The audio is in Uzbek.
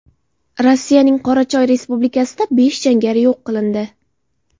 Rossiyaning Qorachoy respublikasida besh jangari yo‘q qilindi.